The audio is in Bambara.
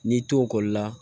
N'i to ekɔli la